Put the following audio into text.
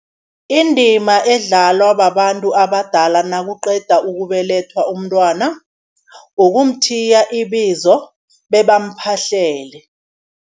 Indima edlalwa babantu abadala nakuqeda ukubelethwa umntwana, ukumthiya ibizo bebamuphahlele.